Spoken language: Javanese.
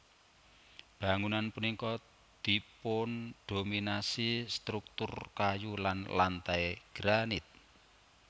Bangunan punika dipundominasi struktur kayu lan lantai granit